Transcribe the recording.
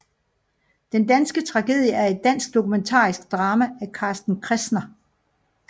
Den danske tragedie er et dansk dokumentarisk drama af Carsten Kressner